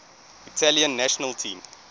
italian national team